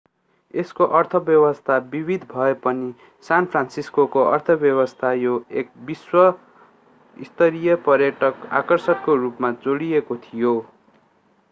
यसको अर्थव्यवस्था विविध भए पनि सान फ्रान्सिस्कोको अर्थव्यवस्था यो एक विश्व स्तरीय पर्यटक आकर्षणको रूपमा जोडिएको थियो